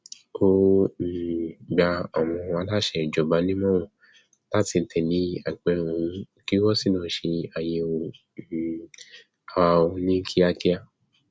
ó um gba àwọn aláṣẹ ìjọba nímọràn láti tẹlé apẹrẹ òun kí wọn sì lọọ ṣe àyẹwò um ara wọn ní kíákíá